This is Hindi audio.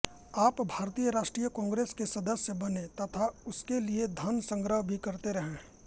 आप भारतीय राष्ट्रीय कांग्रेस के सदस्य बने तथा उसके लिए धन संग्रह भी करते रहे